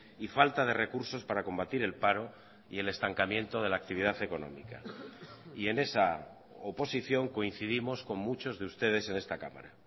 y falta de recursos para combatir el paro y el estancamiento de la actividad económica y en esa oposición coincidimos con muchos de ustedes en esta cámara